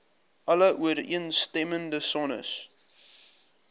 alle ooreenstemmende sones